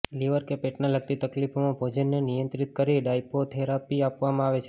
liver કે પેટને લગતી તકલીફોમાં ભોજનને નિયંત્રિત કરી ડાઈટોથેરોપી આપવામાં આવે છે